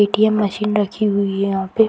ATM. Machine रखी हुई है यहाँ पे।